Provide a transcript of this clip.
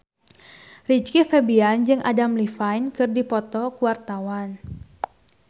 Rizky Febian jeung Adam Levine keur dipoto ku wartawan